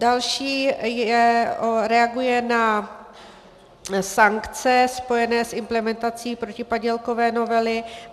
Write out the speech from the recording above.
Další reaguje na sankce spojené s implementací protipadělkové novely.